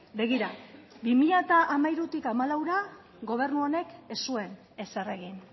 begira bi mila hamairutik hamalaura gobernu honek ez zuen ezer egin